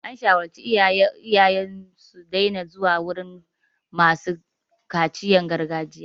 An shawartar iyaye su daina zuwa wurin masu kaciyan gargajiya.